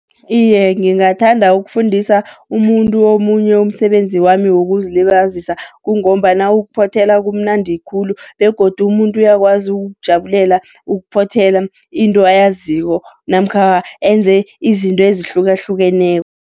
Iye, ngingathanda ukufundisa umuntu omunye umsebenzi wami wokuzilibazisa, kungombana ukuphothela kumnandi khulu. Begodu umuntu uyakwazi ukujabulela ukuphothela into ayaziko, namkha enze izinto ezihlukahlukeneko.